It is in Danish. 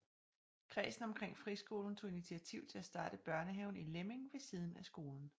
Kredsen omkring friskolen tog initiativ til at starte Børnehaven i Lemming ved siden af skolen